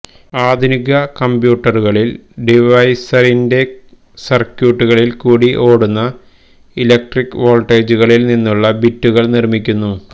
ആധുനിക കംപ്യൂട്ടറുകളിൽ ഡിവൈസിൻറെ സർക്യൂട്ടുകളിൽ കൂടി ഓടുന്ന ഇലക്ട്രിക് വോൾട്ടേജുകളിൽ നിന്നുള്ള ബിറ്റുകൾ നിർമ്മിക്കുന്നു